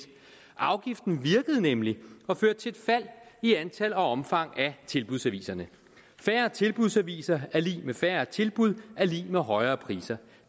afgiften virkede nemlig og førte til et fald i antal og omfang af tilbudsaviserne færre tilbudsaviser er lig med færre tilbud er lig med højere priser